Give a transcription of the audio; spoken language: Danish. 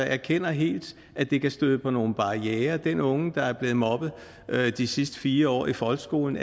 erkender helt at det kan støde på nogle barrierer den unge der er blevet mobbet de sidste fire år i folkeskolen